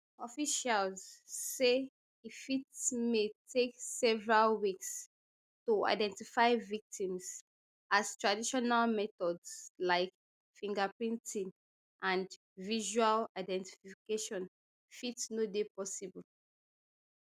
officials say e fit may take several weeks to identify victims as traditional methods like fingerprinting and visual identification fit no dey possible